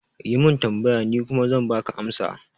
Yi min tambaya, ni kuma zan baka amsa